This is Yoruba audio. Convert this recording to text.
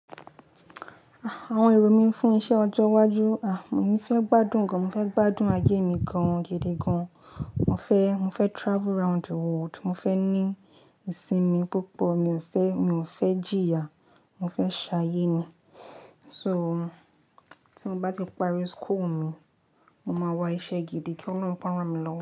Àwọn èrò mi fún iṣẹ́ ọjọ́ iwájú, a, mo fẹ́ gbádùn gan, mo fẹ́ gbádùn ayé mi gan, gede gan. Mo fẹ́, mo fẹ́ travel round the world, mo fẹ́ ní ìsinmi púpọ̀, mi ò fẹ́, mi ò fẹ́ jìyà, mo fẹ́ ṣayé ni. So, tí mo bá ti parí school mi, mo máa wá iṣẹ́ gidi kí Ọlọ́run kó rán mi lọ́wọ́